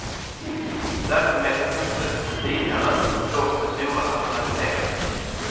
Verksamheten fortsätter som tidigare, dock med stora rationaliseringar.